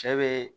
Cɛ bɛ